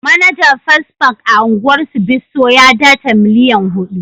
Manajer first bank a'ungwar Bisso ya data millian hudu.